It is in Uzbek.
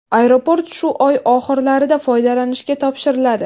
Aeroport shu oy oxirlarida foydalanishga topshiriladi.